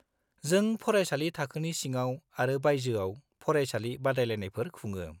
जों फरायसालि थाखोनि सिङाव आरो बायजोआव फरायसालि बादायलायनायफोर खुङो।